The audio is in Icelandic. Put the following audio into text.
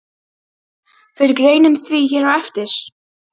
Fer greinin því hér á eftir.